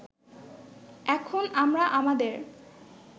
এখন আমরা আমাদের